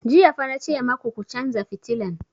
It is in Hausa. Jiya fa na ce maku ku chanza fitilan!